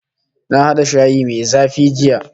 Na hada shayi mai zafi jiya